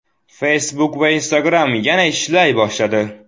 Facebook va Instagram yana ishlay boshladi.